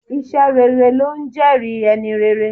Iṣẹ́ rere ló ńjẹ́ẹ̀rí ẹni rere.